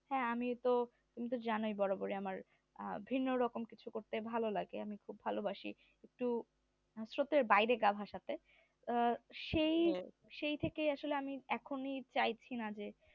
হ্যাঁ আমিও তো তুমি তো জানোই বরাবরই আমার আহ ভিন্ন রকম কিছু করতে ভালো লাগে আমি একটু ভালোবাসি একটু স্রোতের বাইরে গা ভাসাতে আহ সেই সেই থেকেই আসলে আমি চাইছি না যে